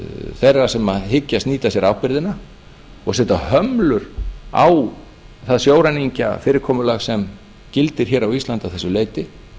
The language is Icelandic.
þeirra sem hyggjast nýta sér ábyrgðina og setja hömlur á það sjóræningjafyrirkomulag sem gildir hér á íslandi að þessu leyti